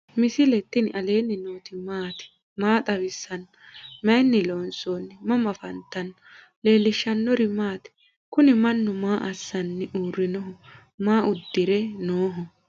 misile tini alenni nooti maati? maa xawissanno? Maayinni loonisoonni? mama affanttanno? leelishanori maati? kuuni manu maa asani uurinoho? maa udire noho?